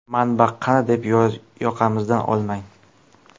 Manba qani, deb yoqamizdan olmang.